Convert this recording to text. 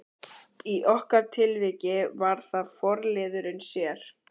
Í okkar tilviki var það forliðurinn sér.